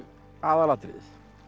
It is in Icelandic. aðalatriðið